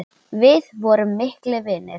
Við vorum miklir vinir.